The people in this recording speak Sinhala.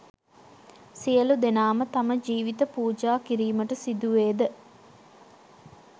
සියළු දෙනාම තම ජීවිත පූජා කිරීමට සිදුවේද?